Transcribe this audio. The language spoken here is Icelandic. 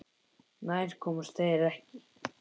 Nær komust þeir ekki.